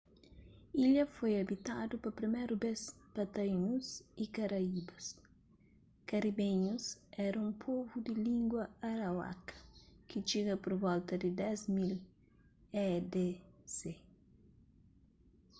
ilha foi abitadu pa priméru bês pa taínus y karaíbas karibenhus éra un povu di língua arawaka ki txiga pur volta di 10.000 e.d.c